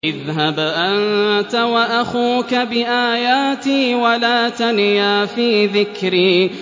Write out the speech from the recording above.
اذْهَبْ أَنتَ وَأَخُوكَ بِآيَاتِي وَلَا تَنِيَا فِي ذِكْرِي